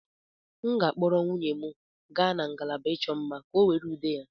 M ga-akpọrọ nwunye m gaa na ngalaba ịchọ mma, ka ọ were ude ya.